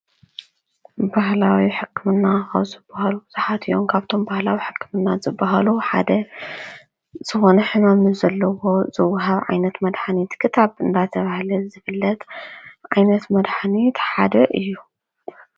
ባህላዊ ሕክምና ካብ ዝባሃሉ ብዙሓት እዩም። ካብቶም ባህላዊ ሕክምና ዝባሃሉ ሓደ ዝኮነ ሕማም ንዘለዎ ዝዋሃብ ዓይነት መድሓኒት ክታብ እናተባሃለ ዝፍለጥ ዓይነት መድሓኒት ሓደ እዩ።